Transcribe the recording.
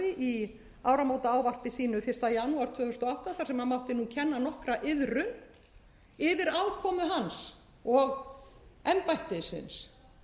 í áramótaávarpi sínu fyrsta janúar tvö þúsund og átta þar sem mátti kenna nokkra iðrun yfir afkomu hans og embættisins